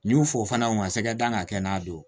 N y'u fo fana u ka sɛgɛ da ka kɛ n'a don